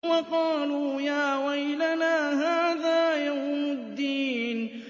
وَقَالُوا يَا وَيْلَنَا هَٰذَا يَوْمُ الدِّينِ